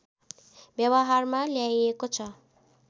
व्यवहारमा ल्याइएको छ